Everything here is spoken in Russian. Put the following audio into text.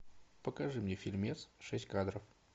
покажи мне фильмец шесть кадров